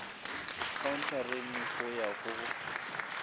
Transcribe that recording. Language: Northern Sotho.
khaonthareng go ya go go